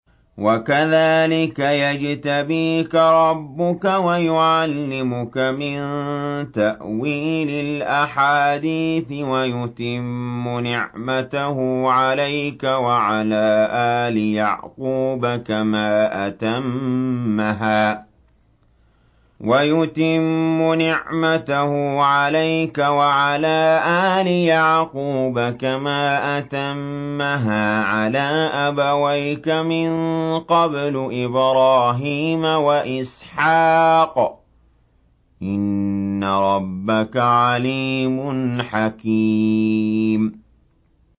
وَكَذَٰلِكَ يَجْتَبِيكَ رَبُّكَ وَيُعَلِّمُكَ مِن تَأْوِيلِ الْأَحَادِيثِ وَيُتِمُّ نِعْمَتَهُ عَلَيْكَ وَعَلَىٰ آلِ يَعْقُوبَ كَمَا أَتَمَّهَا عَلَىٰ أَبَوَيْكَ مِن قَبْلُ إِبْرَاهِيمَ وَإِسْحَاقَ ۚ إِنَّ رَبَّكَ عَلِيمٌ حَكِيمٌ